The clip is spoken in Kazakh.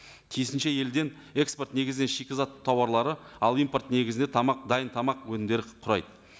тиісінше елден эксорт негізден шикізат тауарлары ал импорт негізінде тамақ дайын тамақ өнімдері құрайды